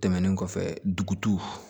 Tɛmɛnen kɔfɛ dugu